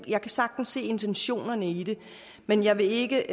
jeg kan sagtens se intentionerne i det men jeg vil ikke